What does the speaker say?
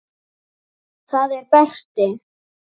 Það er Berti.